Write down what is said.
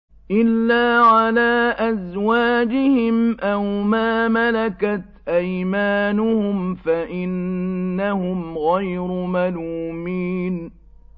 إِلَّا عَلَىٰ أَزْوَاجِهِمْ أَوْ مَا مَلَكَتْ أَيْمَانُهُمْ فَإِنَّهُمْ غَيْرُ مَلُومِينَ